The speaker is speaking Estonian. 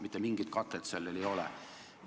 Mitte mingit katet sellel ei ole.